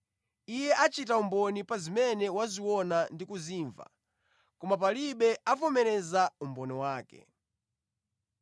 Iye achita umboni pa zimene waziona ndi kuzimva, koma palibe avomereza umboni wake.